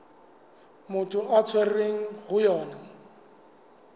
motho a tshwerweng ho yona